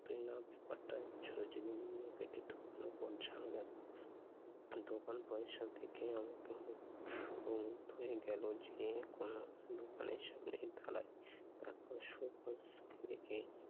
জীবনীগুলো কেটে ঢুকল কোন ঝামেলায়। দোকান পয়সা দেখে আমাকে হম ও মুগদ্ধ হয়ে গেল যে এ কোন দোকানের সামনে দাঁড়ায়, তারপর সব bus গুলিকে